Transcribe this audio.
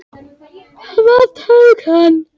Hvað tók hann?